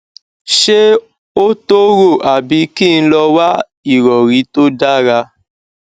ṣé ó tó rò àbí kí n lọ wá ìrọrí tó dára